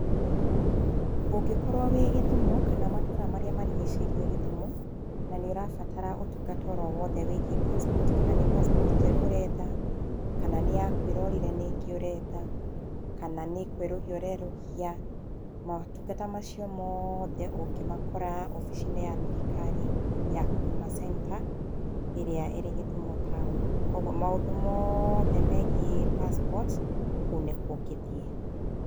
Ũngĩkorwo wĩ Gĩthumo kana matũra marĩa marigicĩirie Gĩthumo, na nĩũrabatara ũtungata oro-wothe wĩgiĩ passport kana nĩ passport njerũ ũrenda, kana nĩ yaku ĩrorire nĩ ĩngĩ ũretha, kana nĩ kwerũhia ũrerũhia, motungata macio moothe ũngĩmakora obici-inĩ ya thirikari ya Huduma centre ĩrĩa ĩrĩ Gĩthũmo taũni, kwoguo maũndũ moothe megiĩ passport kũu nĩkuo ũngĩthiĩ.